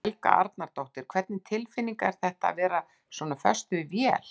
Helga Arnardóttir: Hvernig tilfinning er þetta, að vera svona föst við vél?